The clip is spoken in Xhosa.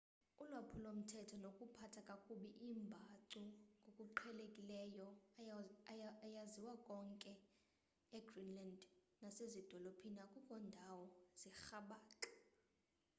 ulwaphulo-mthetho nokuphatha kakubi iimbacu ngokuqhelekileyo ayaziwa konke konke e greenland nasezidolophini akukho ndawo zirhabaxa